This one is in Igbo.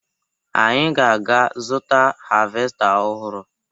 Anyị ga-aga zụta havesta ọhụrụ